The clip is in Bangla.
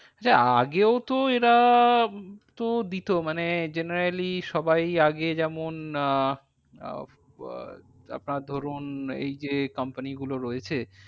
আরে আগেও তো এরা তো দিতো মানে generally সবাই আগে যেমন আহ আপনার ধরুন এই যে company গুলো রয়েছে।